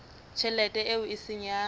tjhelete eo e seng ya